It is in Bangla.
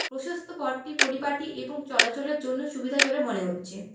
প্রশস্ত পটটি পরিপাটি এবং চলাচলের জন্য সুবিধাজনক মনে হচ্ছে।